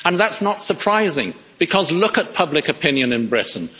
And that's not surprising, because look at public opinion in Britain